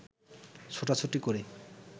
ছোটাছুটি করে